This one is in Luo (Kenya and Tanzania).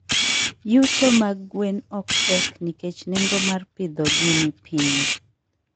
Yuto mag gwen ok tek nikech nengo mar pidhogi ni piny.